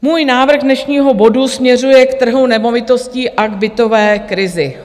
Můj návrh dnešního bodu směřuje k trhu nemovitostí a k bytové krizi.